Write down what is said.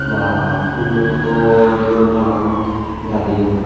Baa phoolloi hoto dole malagun gadeyon.